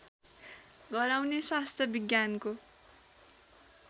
गराउने स्वास्थ्य विज्ञानको